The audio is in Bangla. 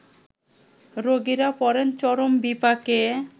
রোগীরা পড়েন চরম বিপাকে